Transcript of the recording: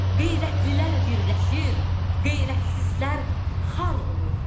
Qeyrətlilər birləşir, qeyrətsizlər xar olur.